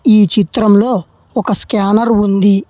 ఈ చిత్రంలో ఒక స్కానర్ ఉంది.